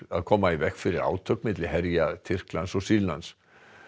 að koma í veg fyrir átök á milli herja Tyrklands og Sýrlands